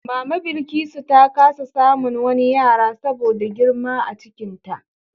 Mama Bilkisu ta kasa samun wani yara saboda girma a cikinta.